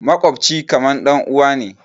Maƙwabci kamar ɗanuwa ne.